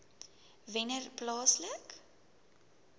wennerplaaslike